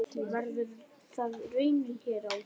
Verður það raunin hér á?